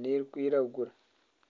n'erikwiragura.